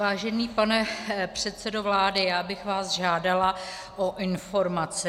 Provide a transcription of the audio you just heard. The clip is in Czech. Vážený pane předsedo vlády, já bych vás žádala o informaci.